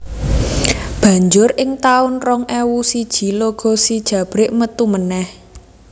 Banjur ing tahun rong ewu siji logo si Jabrik metu meneh